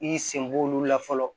I y'i senbɔ olu la fɔlɔ